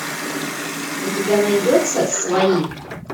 у тебя найдется свои